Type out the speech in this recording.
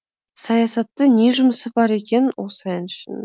саясатты не жұмысы бар екен осы әншін